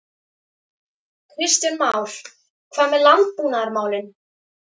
Kristján Már: Hvað með landbúnaðarmálin?